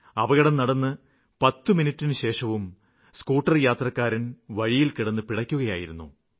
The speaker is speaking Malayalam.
അപകടം നടന്ന് 10 മിനിറ്റിനുശേഷവും സ്കൂട്ടര്യാത്രക്കാരന് വഴിയില്കിടന്ന് പിടയ്ക്കുകയായിരുന്നു